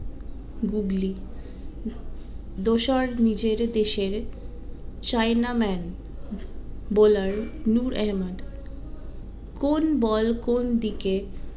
googly যশোরে নিজের দেশের china man bowler কোন বল কোন দিকে